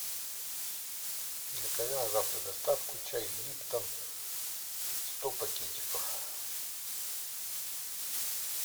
закажи на завтра доставку чай липтон сто пакетиков